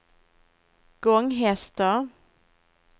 Gånghester